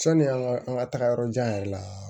Sɔni an ka an ka tagayɔrɔ jan yɛrɛ la